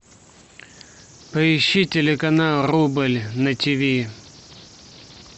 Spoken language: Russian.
поищи телеканал рубль на тиви